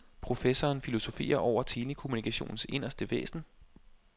Professoren filosoferer over telekommunikationens inderste væsen.